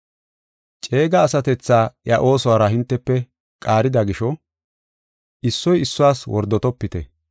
Ceega asatethaa iya oosuwara hintefe qaarida gisho, issoy issuwas wordotopite.